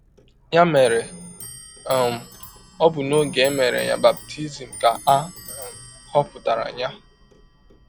Ya mere, um ọ bụ n’ọge e mere ya baptism ka a um họpụtara ya.